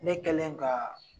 Ne kɛlen ka